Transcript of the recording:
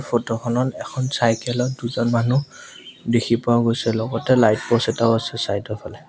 Photo খনত এখন cycle ত দুজন মানুহ দেখি পোৱাও গৈছে লগতে লাইট প'ষ্ট এটা আছে চাইড ৰ ফালে।